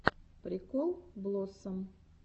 прикол блоссом